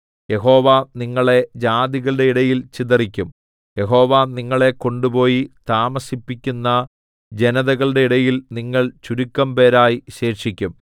യഹോവ നിങ്ങളെ ജാതികളുടെ ഇടയിൽ ചിതറിക്കും യഹോവ നിങ്ങളെ കൊണ്ടുപോയി താമസിപ്പിക്കുന്ന ജനതകളുടെ ഇടയിൽ നിങ്ങൾ ചുരുക്കംപേരായി ശേഷിക്കും